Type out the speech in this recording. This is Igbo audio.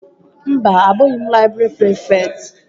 Mba, abụghị m laịbrị prịfekt